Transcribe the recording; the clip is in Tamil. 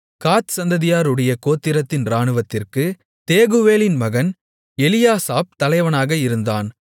காத் சந்ததியாருடைய கோத்திரத்தின் இராணுவத்திற்குத் தேகுவேலின் மகன் எலியாசாப் தலைவனாக இருந்தான்